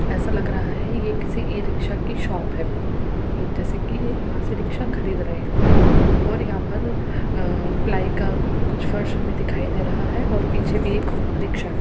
ऐसा लग रहा है कि ये किसी ई-रिक्शा की शॉप है जैसे कि यहां से रिक्शा खरीद रहे हैं और यहां पर अ प्लाइ का कुछ फर्श हमे दिखाई दे रहा है ओर पीछे भी एक रिक्षा है।